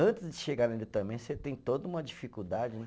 Antes de chegar nele também você tem toda uma dificuldade, né?